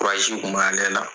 kun bɛ ale la.